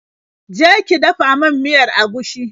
Je ki dafa min miyar agushi.